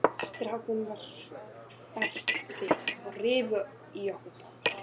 Strákunum varð hverft við og rifu í okkur báðar.